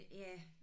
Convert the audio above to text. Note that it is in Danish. Ja